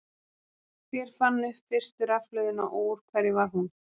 Hver fann upp fyrstu rafhlöðuna og úr hverju var hún?